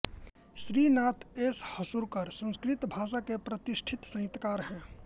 Srinath S Hasurkar Sanskrit भाषा के प्रतिष्ठित साहित्यकार हैं